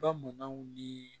Bamananw ni